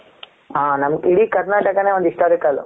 ಹ ನಮ್ಮ ಇಡಿ ಕರ್ನಾಟಕ ನೆ ಒಂದು historical.